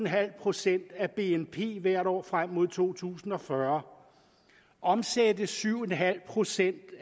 procent af bnp hvert år frem mod to tusind og fyrre omsættes syv procent